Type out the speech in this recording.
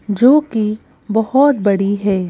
जो कि बहुत बड़ी है।